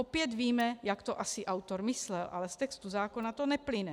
Opět víme, jak to asi autor myslel, ale z textu zákona to neplyne.